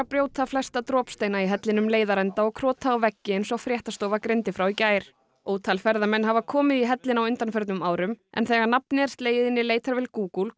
brjóta flesta dropsteina í hellinum leiðarenda og krota á veggi eins og fréttastofa greindi frá í gær ótal ferðamenn hafa komið í hellinn á undanförnum árum en þegar nafnið er slegið inn í leitarvél Google